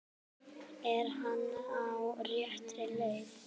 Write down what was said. Er hann á réttri leið?